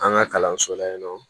An ka kalanso la yen nɔ